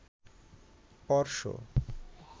অর্শ